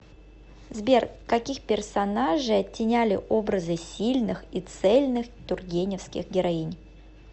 сбер каких персонажей оттеняли образы сильных и цельных тургеневских героинь